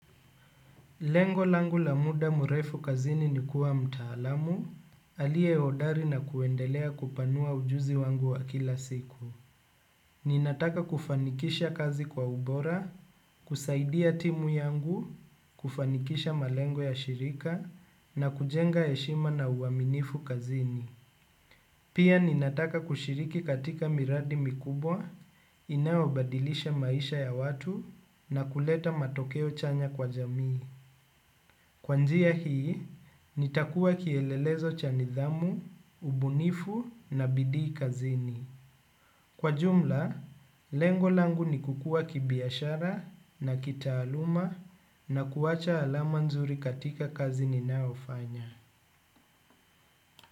Lengo langu lamuda murefu kazini ni kuwa mtaalamu, alie odari na kuendelea kupanua ujuzi wangu wa kila siku. Ninataka kufanikisha kazi kwa ubora, kusaidia timu yangu, kufanikisha malengo ya shirika, na kujenga heshima na uaminifu kazini. Pia ninataka kushiriki katika miradi mikubwa inayo badilisha maisha ya watu na kuleta matokeo chanya kwa jamii kwa njia hii nitakua kielelezo cha nidhamu ubunifu na bidii kazini. Kwa jumla, lengolangu ni kukua kibiashara na kitaaluma na kuwacha alamanzuri katika kazini nayofanya.